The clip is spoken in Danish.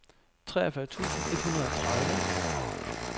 treogfyrre tusind et hundrede og tredive